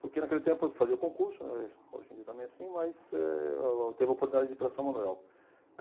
Porque naquele tempo fazia o concurso, né, hoje em dia também é assim, mas eh teve a oportunidade de ir para São Manuel.